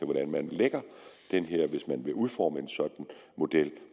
hvordan man lægger den her hvis man vil udforme en sådan model